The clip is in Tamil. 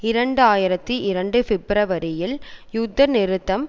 இரண்டு ஆயிரத்தி இரண்டு பிப்பிரவரியில் யுத்த நிறுத்தம்